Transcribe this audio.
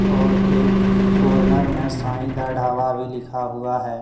और एक कॉर्नर में साई दा ढाबा भी लिखा हुआ है।